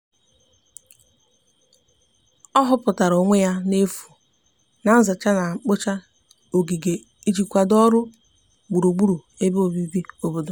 ọ huputara onwe ya n'efu na nzacha na mgbocha ogige iji kwado ọrụ gburugburu ebe obibi obodo